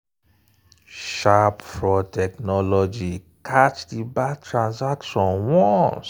sharp fraud technology catch di bad transaction once.